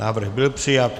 Návrh byl přijat.